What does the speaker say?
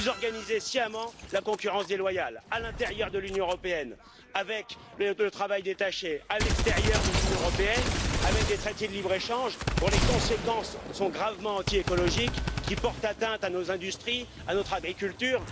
Vous organisez sciemment la concurrence déloyale, à l'intérieur de l'Union européenne avec le travail détaché, à l'extérieur de l'Union européenne avec des traités de libre échange dont les conséquences sont gravement anti écologiques et qui portent atteinte à nos industries et à notre agriculture.